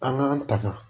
An k'an taŋa